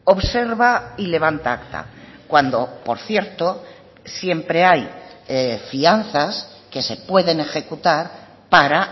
observa y levanta acta cuando por cierto siempre hay fianzas que se pueden ejecutar para